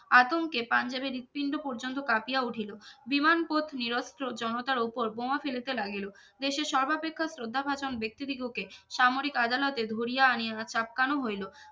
আতঙ্কে পাঞ্জাবে হৃদপিণ্ড পর্যন্ত কাঁপিয়া উঠিলো বিমান পথ নিরস্তর জনতার ওপর বোমা ফেলিতে লাগিলো দেশের সর্বাপেক্ষা শ্রদ্ধা খতম ব্যক্তিদিগোকে সামরিক আদালতে ধরিয়া আনিয়া চাপকানো হইলো